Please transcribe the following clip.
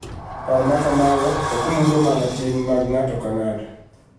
Paro ma kamago ok mulo mana tim mag ng�ato ka ng�ato